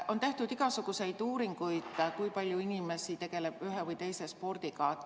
On tehtud igasuguseid uuringuid, kui palju inimesi tegeleb ühe või teise spordialaga.